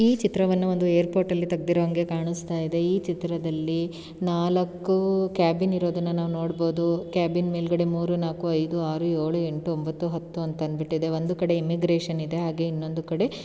ಈ ಚಿತ್ರವನ್ನು ಒಂದು ಏರ್ಪೋರ್ಟ ಲ್ಲಿ ತೆಗ್ದಿರೋಹಂಗೆ ಕಾಣಸ್ತಾ ಇದೆ. ಈ ಚಿತ್ರದಲ್ಲಿ ನಾಲಕ್ಕು ಕ್ಯಾಬಿನ್ ಇರೋದನ್ನ ನಾವ್ ನೋಡ್ಬೋದು. ಕ್ಯಾಬಿನ್ ಮೇಲ್ಗಡೆ ಮೂರು ನಾಕು ಐದು ಆರು ಏಳು ಎಂಟು ಒಂಬತ್ತು ಹತ್ತು ಅಂತ ಅಂದ್ಬಿಟ್ಟಿದೆ. ಒಂದು ಕಡೆ ಇಮಿಗ್ರೇಷನ್ ಇದೆ. ಹಾಗೆ ಇನ್ನೊಂದು ಕಡೆ --